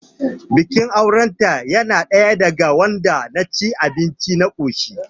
Bikin auren ta yana ɗaya daga wanda na ci abinci na koshi